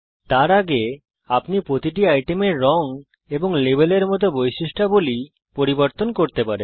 তার আগে আপনি প্রতিটি আইটেমের রঙ এবং লেবেল এর মত বৈশিষ্ট্যাবলী পরিবর্তন করতে পারেন